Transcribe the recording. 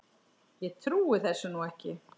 Ég trúi þessu nú ekki!